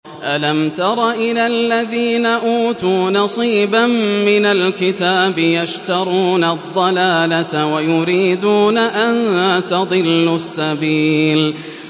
أَلَمْ تَرَ إِلَى الَّذِينَ أُوتُوا نَصِيبًا مِّنَ الْكِتَابِ يَشْتَرُونَ الضَّلَالَةَ وَيُرِيدُونَ أَن تَضِلُّوا السَّبِيلَ